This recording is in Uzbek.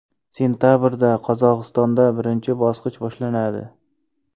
Sentabrda Qozog‘istonda birinchi bosqich boshlanadi.